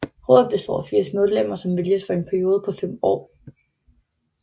Rådet består af 80 medlemmer som vælges for en periode på 5 år